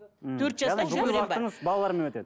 мхм яғни бүкіл уақытыңыз балалармен өтеді